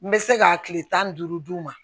N bɛ se ka kile tan ni duuru d'u ma